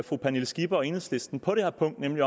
fru pernille skipper og enhedslisten på det her punkt nemlig